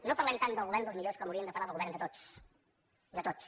no parlem tant del govern dels millors com hauríem de parlar del govern de tots de tots